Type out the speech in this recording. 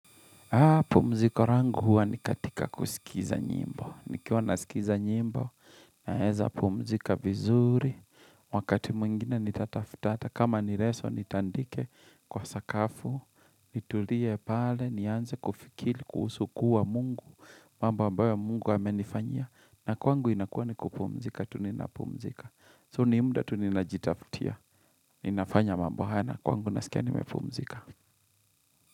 Pumziko rangu huwa ni katika kusikiza nyimbo. Nikiwa nasikiza nyimbo naeza pumzika vizuri. Wakati mwingine nitatafutata. Kama ni reso nitandike kwa sakafu. Nitulie pale, nianze kufikili, kuhusu kuwa mungu. Mambo ambayo mungu amenifanyia. Na kwangu inakuwa ni kupumzika, tu ninapumzika. So ni muda tu ninajitafutia. Ninafanya mambo haya na kwangu nasikia nimepumzika.